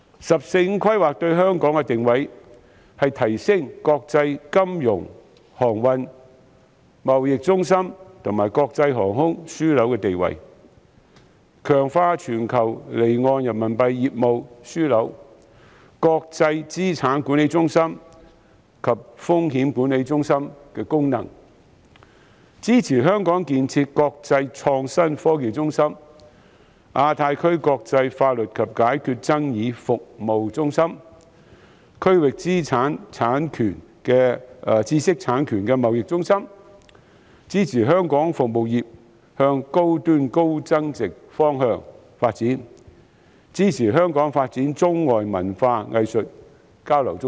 "十四五"規劃對香港作出的定位是提升國際金融、航運及貿易中心和國際航空樞紐的地位；強化全球離岸人民幣業務樞紐、國際資產管理中心及風險管理中心的功能；支持香港建設國際創新科技中心、亞太區國際法律及解決爭議服務中心、區域知識產權貿易中心；支持香港服務業向高端及高增值的方向發展；支持香港發展中外文化藝術交流中心。